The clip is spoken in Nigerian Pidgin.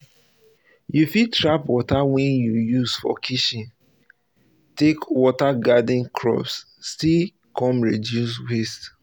you fit trap water wey you use for kitchen take water garden crops still come reduce waste